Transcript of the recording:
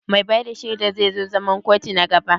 Mai ba da shaidar zai zo zaman kotu na gaba?